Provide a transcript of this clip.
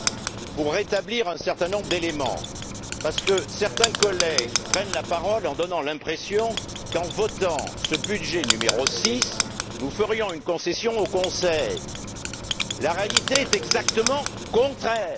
Je voudrais rétablir un certain nombre d'éléments, parce que certains collègues prennent la parole en donnant l'impression qu'en votant ce budget n° 6, nous ferions une concession au Conseil. La réalité est exactement le contraire.